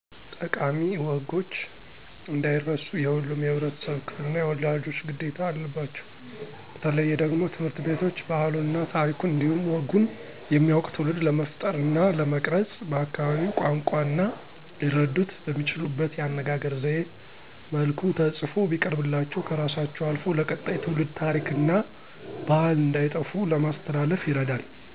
ጠቃሚ ወጎች እንዳይረሱ የሁሉም የህብረተሰብ ክፍል እና የወላጆች ግዴታ አለባቸው በተለየ ደግሞ ትምህርት ቤቶች ባህሉን እና ታሪኩን እንዲሁም ወጉን የሚያዉቅ ትዉልድ ለመፍጠር እና ለመቅረፅ በአካባቢው ቋንቋ እና ሊረዱት በሚችሉት የአነጋገር ዘየ መልኩ ተፅፎ ቢቀርብላቸው ከራሳቸው አልፎ ለቀጣይ ትውልድ ታሪክ እና ባህል እንዳይጠፉ ለማስተላለፍ ይረዳል።